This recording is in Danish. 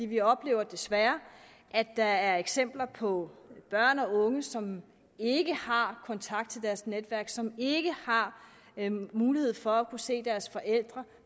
vi oplever desværre at der er eksempler på børn og unge som ikke har kontakt til deres netværk som ikke har mulighed for at kunne se deres forældre